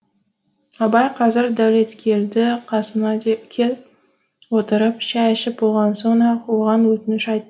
абай қазір дәулеткелді қасына кеп отырып шай ішіп болған соң ақ оған өтініш